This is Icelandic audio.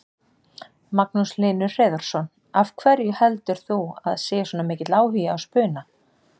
Magnús Hlynur Hreiðarsson: Af hverju heldur þú að sé svona mikill áhugi á spuna?